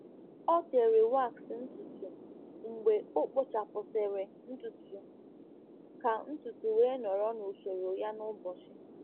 Ọ tere waks ntutu mgbe o kpochapụsịrị ntutu ka ntutu wee nọrọ n’usoro ya n'ụbọchị.